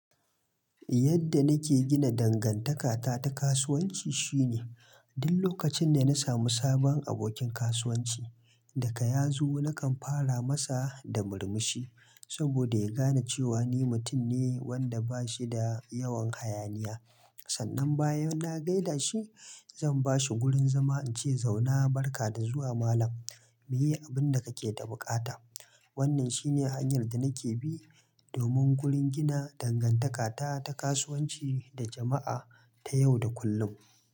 Yadda nake gina dangantakata ta kasuwanci shine, duk lokacin da na samu sabon abokin kasuwanci, daga ya zo nakan fara masa da murmushi saboda ya gane cewa ni mutum ne wanda bashi da yawan hayaniya. Sannan bayan na gaida shi, zan bashi wurin zama, in ce zauna, barka da zuwa malam, muyi abin da kake da buƙata. Wannan shi ne hanyar da nake bi domin wurin gina dangantakata ta kasuwanci da jama'a ta yau da kullum.